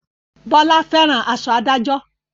Bọlá fẹ́ràn aṣọ adájọ́